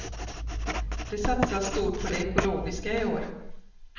Det satsas stort på det ekologiska i år.